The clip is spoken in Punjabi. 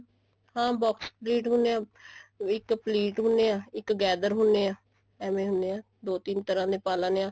ਹਾਂ box ਹੁੰਦੇ ਐ ਇੱਕ plait ਹੁੰਦੇ ਐ ਇੱਕ gather ਹੁੰਦੇ ਐ ਐਵੇਂ ਹੁੰਦੇ ਆ ਦੋ ਤਿੰਨ ਤਰ੍ਹਾਂ ਦੇ ਪਾ ਲੇਣੇ ਆ